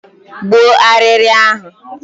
Gbuo arịrị ahụ!